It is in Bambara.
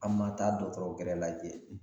An ma taa dɔgɔtɔrɔ gɛrɛ lajɛ